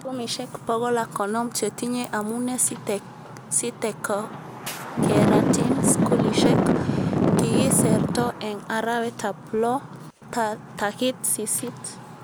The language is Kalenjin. Uchumishek pokol ak konom chetinye amune sitekokeratin skulishek, kikiserto eng arawetab loo takit sisit